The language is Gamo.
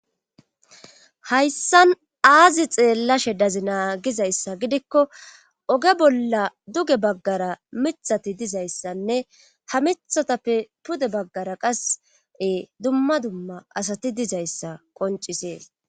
hayssan aazi xeellashe dazi naagizayssa gidikko oge bolla duge baggara mithati dizayssanne ha mithatappe pude baggara qase dumma dumma asati dizayssa qoncisee